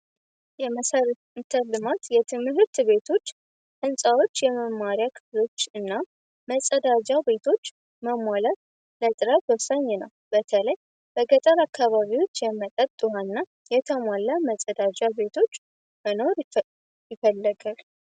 የመሰርንተልማት የትምህርት ቤቶች እንፃዎች የመማሪያ ክብሎች እና መጸዳጃ ቤቶች መሟላት ለጥራት ወሳኝ ነው በተለይ በገጠር አካባቢዎች የመጠጥዋ እና የተሟላ መጸዳጃ ቤቶች መኖር ይፈለገል፡፡